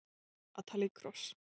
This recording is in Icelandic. Að tala í kross